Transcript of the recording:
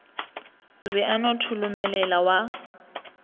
be a no tholomelela wa